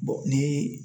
ni